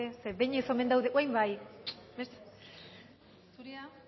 badaezpada ere zeren behin ez omen daude orain bai zurea